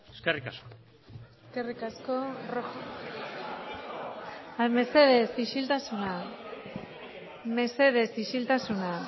eskerrik asko eskerrik asko mesedez isiltasuna mesedez isiltasuna